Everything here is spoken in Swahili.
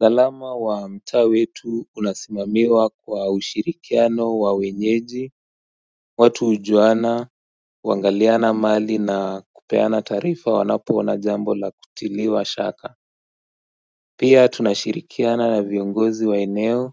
Usalama wa mtaa wetu unasimamiwa kwa ushirikiano wa wenyeji, watu ujuana, uangaliana mali na kupeana taarifa wanapo ona jambo la kutiliwa shaka Pia tunashirikiana na viongozi wa eneo